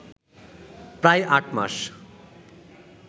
প্রায় আটমাস